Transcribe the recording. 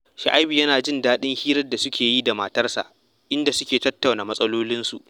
Shu'aibu yana jin daɗin hirar da suke yi da matarsa, inda suke tattauna matsalolinsu